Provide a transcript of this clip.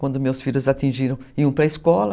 Quando meus filhos atingiram, iam para a escola.